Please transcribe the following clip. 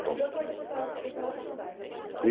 Enquanto você cursava faculdade ainda?